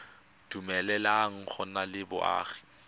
dumeleleng go nna le boagi